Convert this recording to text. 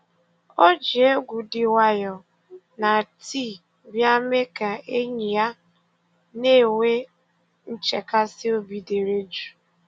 O ji egwu dị nwayọọ na tii bịa mee ka enyi ya na-enwe nchekasị obi dere jụụ